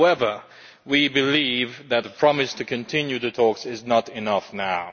However, we believe that the promise to continue the talks is not enough now.